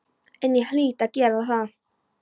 En ég hlýt að gera það.